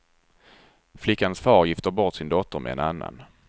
Flickans far gifter bort sin dotter med en annan.